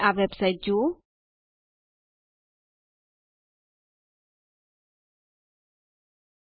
જે આ વેબસાઇટ પર ઉપલબ્ધ છે